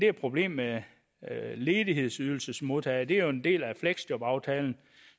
er problemet med ledighedsydelsesmodtagere det er jo en del af fleksjobaftalen